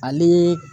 Ani